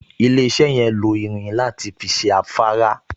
Ilé-iṣẹ́ yẹn lo irin láti fi ṣe afárá